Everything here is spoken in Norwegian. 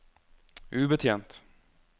ubetjent